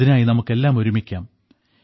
ഇതിനായി നമുക്കെല്ലാം ഒരുമിക്കാം